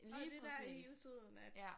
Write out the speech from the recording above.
Lige præcis ja